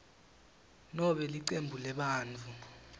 nobe licembu lebantfu